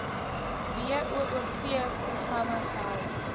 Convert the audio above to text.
boov programme gehou